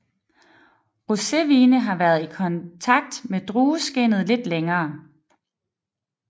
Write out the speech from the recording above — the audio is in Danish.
Rosévine har været i kontakt med drueskindet lidt længere